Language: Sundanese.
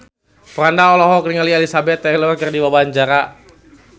Franda olohok ningali Elizabeth Taylor keur diwawancara